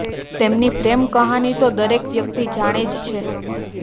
તેમની પ્રેમ કહાની તો દરેક વ્યક્તિ જાણે જ છે